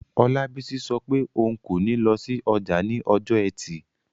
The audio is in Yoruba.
Olabisi sọ pé òun kò ní lọ sí ọjà ní ọjọ́ ẹtì